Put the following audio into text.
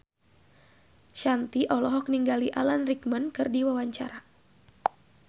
Shanti olohok ningali Alan Rickman keur diwawancara